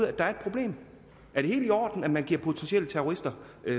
at der er et problem er det helt i orden at man giver potentielle terrorister